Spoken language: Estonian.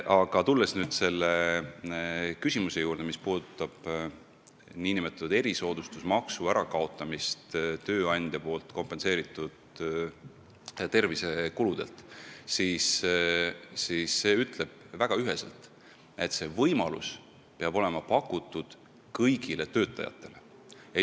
Aga tulles küsimuse juurde, mis puudutas tööandja poolt kompenseeritud tervisekuludelt nn erisoodustusmaksu ärakaotamist, siis seisukoht on ühene: seda võimalust tuleb pakkuda kõigile töötajatele.